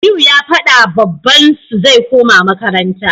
Aliyu ya fadawa babban su zai koma makaranta